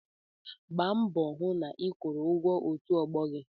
Gbaa mbọ hụ na ị kwụrụ ụgwọ òtù ọgbọ gị!